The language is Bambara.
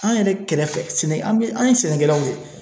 An yɛrɛ kɛrɛfɛ sɛnɛ, an bɛ, an ye sɛnɛkɛlaw ye